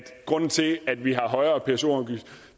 grunden til at vi har højere pso afgift